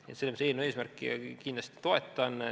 Nii et selles mõttes eelnõu eesmärki kindlasti toetan.